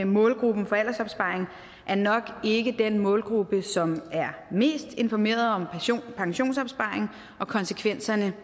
målgruppen for aldersopsparing er nok ikke den målgruppe som er mest informeret om pensionsopsparing og konsekvenserne